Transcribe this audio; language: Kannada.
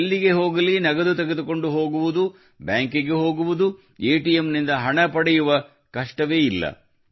ಎಲ್ಲಿಗೆ ಹೋಗಲಿ ನಗದು ತೆಗೆದುಕೊಂಡು ಹೋಗುವುದು ಬ್ಯಾಂಕಿಗೆ ಹೋಗುವುದು ಎಟಿಎಂನಿಂದ ಹಣ ಪಡೆಯುವ ಕಷ್ಟವೇ ಇಲ್ಲ